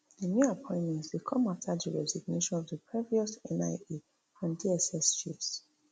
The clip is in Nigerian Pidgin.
di new appointments dey come afta di resignation of di previous nia and dss chiefs